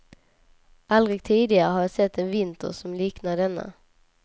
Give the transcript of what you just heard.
Aldrig tidigare har jag sett en vinter som liknar denna.